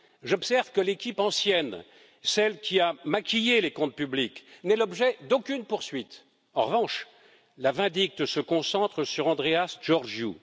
J'observe que l'équipe ancienne, celle qui a maquillé les comptes publics, n'est l'objet d'aucune poursuite. En revanche, la vindicte se concentre sur Andreas Georgiou.